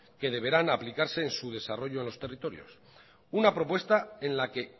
que deberán aplicarse en su desarrollo en los territorios una propuesta en la que